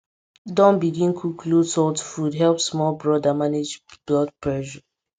don begin cook low salt food help small brother manage blood pressure